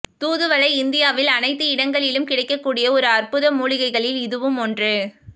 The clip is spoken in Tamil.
தூதுவளை இந்தியாவில் அனைத்து இடங்களிலும் கிடைக்க கூடிய ஒரு அற்புத மூலிகைகளில் இதுவும் ஒன்று